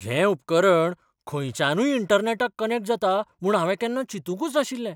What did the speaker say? हें उपकरण खंयच्यानूय इंटरनॅटाक कनॅक्ट जाता म्हूण हांवें केन्ना चिंतुकूच नाशिल्लें.